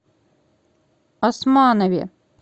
османове